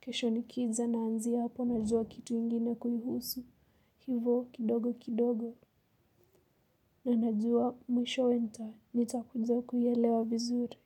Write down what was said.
kesho nikija naanzia hapo najua kitu ingine kuhusu. Hivo kidogo kidogo. Na najua mwishowe nita, nitakuja kuielewa vizuri.